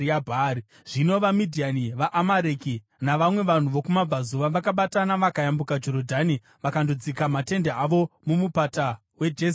Zvino vaMidhiani, vaAmareki navamwe vanhu vokumabvazuva vakabatana vakayambuka Jorodhani vakandodzika matende avo muMupata weJezireeri.